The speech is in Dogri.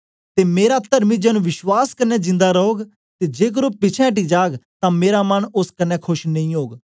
ते मेरा तर्मी जन विश्वास कन्ने जिंदा रौग ते जेकर ओ पिछें अटी जाग तां मेरा मन ओस कन्ने खोश नेई ओग